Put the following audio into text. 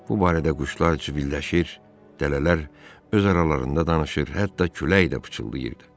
Bu barədə quşlar cıbırlaşır, dələlər öz aralarında danışır, hətta külək də pıçıldayırdı.